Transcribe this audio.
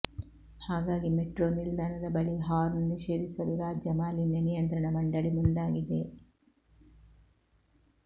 ಹಾಗಾಗಿ ಮೆಟ್ರೋ ನಿಲ್ದಾಣದ ಬಳಿ ಹಾರ್ನ್ ನಿಷೇಧಿಸಲು ರಾಜ್ಯ ಮಾಲಿನ್ಯ ನಿಯಂತ್ರಣ ಮಂಡಳಿ ಮುಂದಾಗಿದೆ